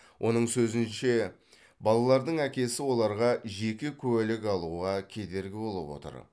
оның сөзінше балалардың әкесі оларға жеке куәлік алуға кедергі болып отыр